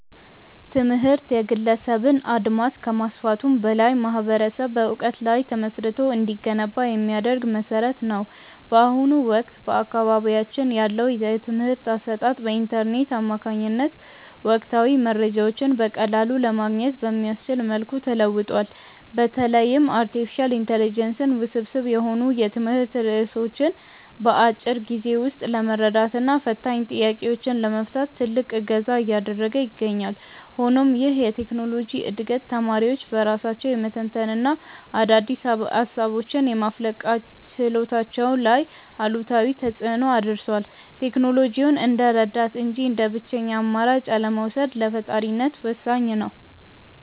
ትምህርት የግለሰብን አድማስ ከማስፋቱም በላይ ማኅበረሰብ በዕውቀት ላይ ተመስርቶ እንዲገነባ የሚያደርግ መሠረት ነው። በአሁኑ ወቅት በአካባቢያችን ያለው የትምህርት አሰጣጥ በኢንተርኔት አማካኝነት ወቅታዊ መረጃዎችን በቀላሉ ለማግኘት በሚያስችል መልኩ ተለውጧል። በተለይም አርቲፊሻል ኢንተለጀንስ ውስብስብ የሆኑ የትምህርት ርዕሶችን በአጭር ጊዜ ውስጥ ለመረዳትና ፈታኝ ጥያቄዎችን ለመፍታት ትልቅ እገዛ እያደረገ ይገኛል። ሆኖም ይህ የቴክኖሎጂ ዕድገት ተማሪዎች በራሳቸው የመተንተንና አዳዲስ ሃሳቦችን የማፍለቅ ችሎታቸው ላይ አሉታዊ ተፅእኖ አድርሷል። ቴክኖሎጂውን እንደ ረዳት እንጂ እንደ ብቸኛ አማራጭ አለመውሰድ ለፈጣሪነት ወሳኝ ነው።